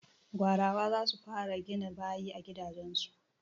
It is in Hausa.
Gwarawa za su fara gina bayi a gidajen su.